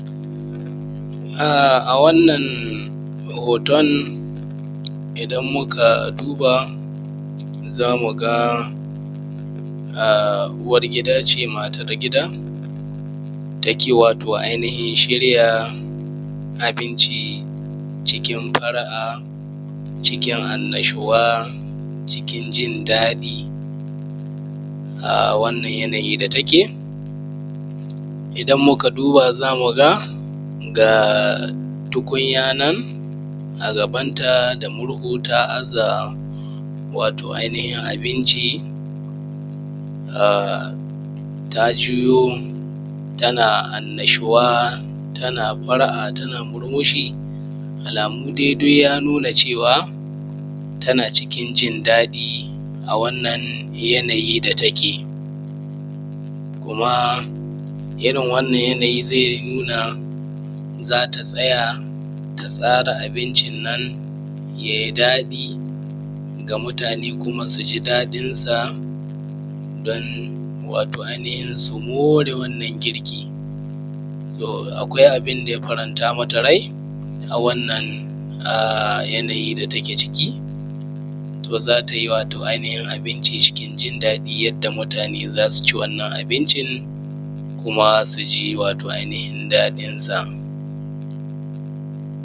um A wannan hoton idan muka duba zamu ga um uwar gida ce, matar gida take wato ainihin shirya abinci cikin fara'a, cikin annashuwa, cikin jin daɗi. um A wannan yanayi da take, idan muka duba zamuga ga um tukunya nan a gaban ta da murhu ta aza wato ainihin abinci, um ta juyo tana annashuwa, tana fara'a tana murmushi. Alamu dai ya nuna cewa tana cikin jin daɗi a wannan yanayi da take, kum irin wannan yanayi zai nuna zata tsaya ta tsara abincin nan yayi daɗi ga mutane, kuma suji daɗin sa don wato ainihin su moree wannan girki. Toh, akwai abinda ya faranta mata rai a wannan um yanayi da take ciki, toh za tayi wato ainihin abinci cikin jin daɗi yadda mutane za su ci wannan abincin, kuma su ji wato ainihin daɗin sa